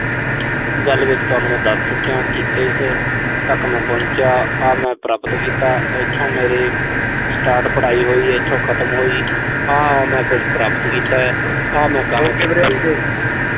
ਗੱਲ ਵਿੱਚ ਤੁਹਾਨੂੰ ਮੈਂ ਦੱਸ ਚੁੱਕਿਆਂ ਕਿ ਇਸ ਤੱਕ ਮੈਂ ਪਹੁੰਚਿਆ, ਆ ਮੈਂ ਪ੍ਰਾਪਤ ਕੀਤਾ। ਇਥੋਂ ਮੇਰੀ start ਪੜਾਈ ਹੋਈ। ਇਥੋਂ ਖਤਮ ਹੋਈ। ਆਹ ਮੈਂ ਕੁਸ਼ ਪ੍ਰਾਪਤ ਕੀਤਾ।